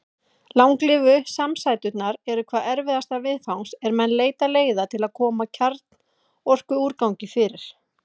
Langlífu samsæturnar eru hvað erfiðastar viðfangs er menn leita leiða til að koma kjarnorkuúrgangi fyrir.